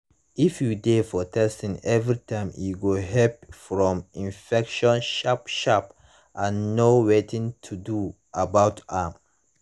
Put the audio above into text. if you de for testing everytime e go help from infection sharp sharp and knw wetin to do about am